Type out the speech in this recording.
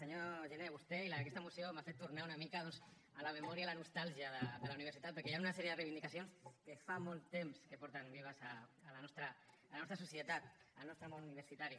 senyor giner vostè i aquesta moció m’han fet tornar una mica doncs a la memòria i a la nostàlgia de la universitat perquè hi ha una sèrie de reivindicacions que fa molt temps que estan vives a la nostra societat al nostre món universitari